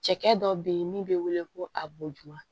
Cɛkɛ dɔ bɛ yen min bɛ wele ko a boduwa